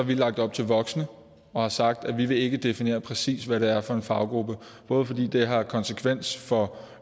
vi lagt op til voksne og har sagt at vi ikke vil definere præcis hvad det er for en faggruppe både fordi det har en konsekvens for